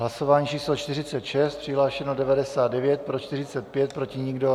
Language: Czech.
Hlasování číslo 46, přihlášeno 99, pro 45, proti nikdo.